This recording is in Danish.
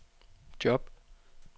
job